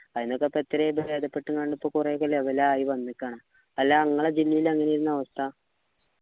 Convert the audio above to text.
ആയിനത്തിന്നൊക്കെ എത്രയോ ഭേദപ്പെട്ട് കാണ് ഇപ്പൊ കുറെയൊക്കെ level ആയി വന്നിക്കാണ് അല്ല ഇങ്ങളെ ജില്ലയിലെ എങ്ങനെ ആയിരിന്നു അവസ്ഥ